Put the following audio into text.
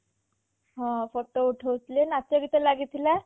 ହଁ photo ଉଠଉଥିଲେ ନାଚ ଗୀତା ଲାଗିଥିଲା